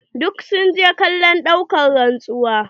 Duk sun je kallon ɗaukan rantsuwa